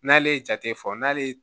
N'ale ye jate fɔ n'ale ye